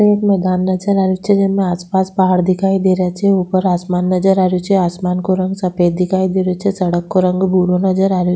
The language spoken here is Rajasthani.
एक मैदान नजर आ रेहो छे जेमे आस पास पहाड़ दिखाई दे रा छे ऊपर आसमान नजर आ रेहो छे आसमान को रंग सफ़ेद दिखाई दे रो छे सड़क को रंग भूरो नज़र आ रेहो --